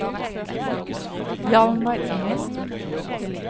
Hjalmar Engen